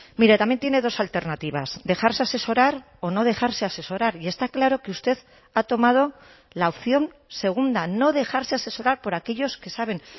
mire también tiene dos alternativas dejarse asesorar o no dejarse asesorar y está claro que usted ha tomado la opción segunda no dejarse asesorar por aquellos que saben